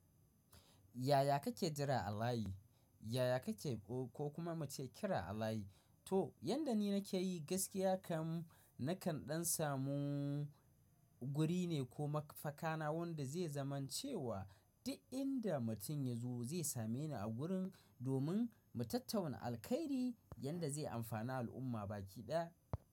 Yaya kake jira a layi? Yaya kake ko kuma muce kira a layi? To, yanda ni nake yi gaskiya kam nakan ɗan samu guri ne ko makafaka na wanda zai zaman cewa duk inda mutum ya zo zai same ni a gurin domin mu tattauna alkairi yanda zai amfani al'umma baki ɗaya.